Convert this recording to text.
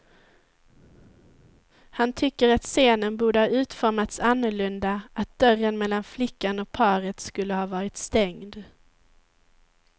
Han tycker att scenen borde ha utformats annorlunda, att dörren mellan flickan och paret skulle ha varit stängd.